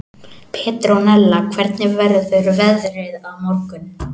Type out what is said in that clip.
Petronella, hvernig verður veðrið á morgun?